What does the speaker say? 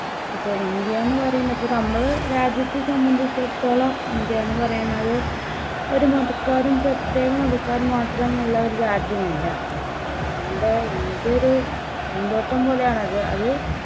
ഇപ്പോ ഇന്ത്യ എന്നുപറയുന്നത് നമ്മൾ രാജ്യത്തെ സംബന്ധിച്ചിടത്തോളം ഇന്ത്യ എന്നുപറയുന്നത് ഒരു മതക്കാരും പ്രത്യേക മതക്കാരും മാത്രമുള്ള ഒരു രാജ്യമല്ല. നമ്മുടെ ഇന്ത്യ ഒരു പൂന്തോട്ടം പോലെയാണ്. അത് അത്